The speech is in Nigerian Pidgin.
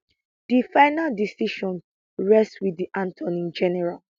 di final decision rest wit di attorney general